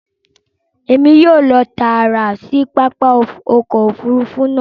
Èmi yóò lọ taara sí pápá ọkọ̀ òfurufú náà